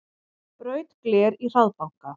Braut gler í hraðbanka